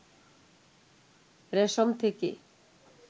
রেশম থেকে